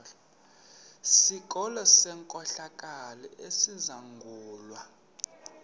sikolo senkohlakalo esizangulwa